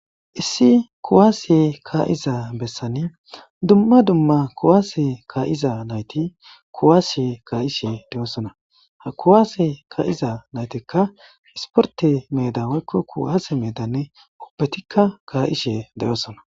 Issi kuwase ka'iza besani dumma dumma kuwase ka'iza nayti kuwase ka'ishe dossona ha kuwasse ka'iza naytika issporte medan woyko kuwase medan ubatika ka'ishe dosona